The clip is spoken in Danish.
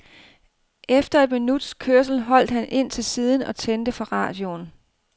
Efter et minuts kørsel holdt han ind til siden og tændte for radioen.